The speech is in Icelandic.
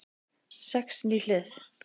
Sex ný hlið